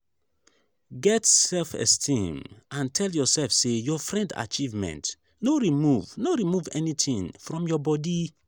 get self esteem and tell yourself say your friend achievement no remove no remove anything from your bodi